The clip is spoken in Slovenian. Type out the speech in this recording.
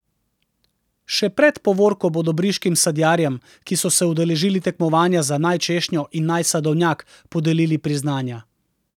Še pred povorko bodo briškim sadjarjem, ki so se udeležili tekmovanja za naj češnjo in naj sadovnjak, podelili priznanja.